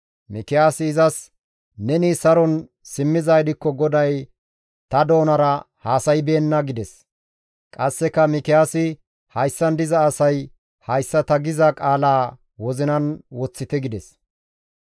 Mikiyaasi izas, «Neni saron simmizaa gidikko GODAY ta doonara haasaybeenna» gides. Qasseka Mikiyaasi, «Hayssan diza asay hayssa ta giza qaalaa wozinan woththite» gides.